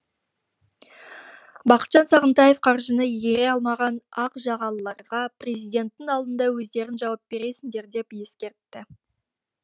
бақытжан сағынтаев қаржыны игере алмаған ақ жағалыларға президенттің алдында өздерің жауап бересіңдер деп ескертті